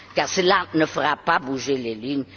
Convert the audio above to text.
cela ne fera pas bouger les lignes.